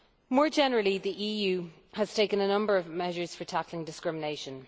More generally, the EU has taken a number of measures for tackling discrimination.